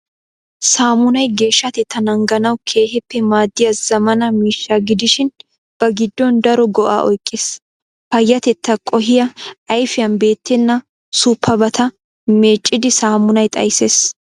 Saamunay geeshshatettaa naaganawu keehippe maaddiya zammaana miishsha gidishin ba giddon daro go"aa oyqqiis. Payyatettaa qohiya ayfiyan beettenna suuppabata meecidi saamunay xayssees.